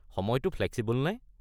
সময়টো ফ্লেক্সিবল নে?